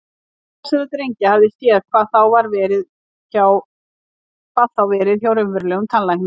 Enginn þessara drengja hafði séð, hvað þá verið hjá raunverulegum tannlækni.